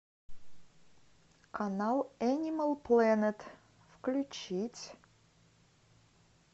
канал энимал планет включить